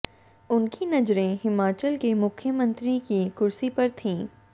उनकी नजरें हिमाचल के मुख्यमंत्री की कुर्सी पर थीं